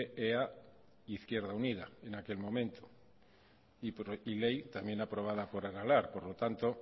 ea e izquierda unida en aquel momento y ly también aprobada por aralar por lo tanto